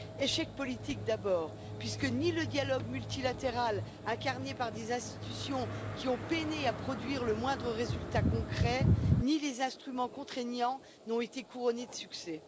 L'échec est d'abord politique, puisque ni le dialogue multilatéral, incarné par des institutions qui ont peiné à produire le moindre résultat concret, ni les instruments contraignants n'ont été couronnés de succès.